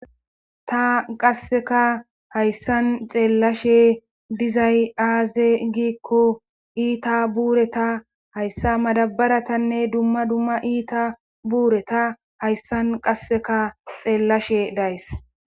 ta qasseka hayssan xeellashe dizay aaze giikko iita buureta hayssa madabaratanne dumma dumma iita buureta hayssan qasseka xeellashe days